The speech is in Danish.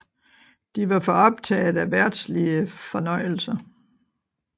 De var for optaget af verdslige fornøjelser